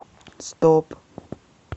стоп